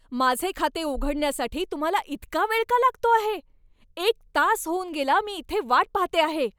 माझे खाते उघडण्यासाठी तुम्हाला इतका वेळ का लागतो आहे? एक तास होऊन गेला मी इथे वाट पाहते आहे!